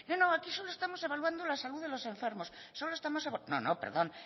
no no aquí solo estamos evaluando la salud de los enfermos no no perdón